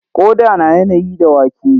Ƙoda na yanayi da wake.